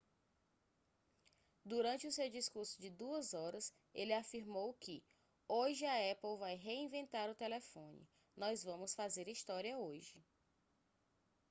durante o seu discurso de 2 horas ele afirmou que hoje a apple vai reinventar o telefone nós vamos fazer história hoje